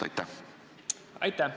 Aitäh!